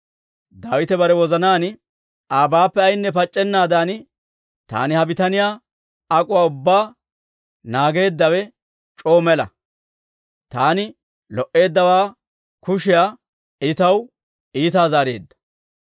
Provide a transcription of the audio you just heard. Daawite bare wozanaan, «Abaappe ayaynne pac'c'ennaadan taani ha bitaniyaa ak'uwaa ubbaa naageeddawe c'oo mela; taani lo"eeddawaa kushiyaa I taw iitaa zaareedda.